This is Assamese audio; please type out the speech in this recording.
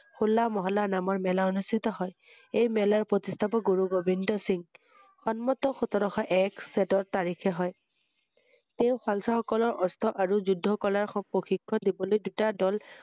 হোলা মহল্লা নামৰ মেলা অনুস্হিত হয় ৷ এই মেলাৰ প্ৰতিস্হাপক গুৰু গোবিল্দ সিং৷ সন্মত সোতৰশ এক চৈধ্য তাৰিখে হয় ৷ এই শালচা সকলৰ আৰু যুদ্ব কলাৰ সূ- প্ৰশিক্ষণ দিবলৈ দূটা দ‘ল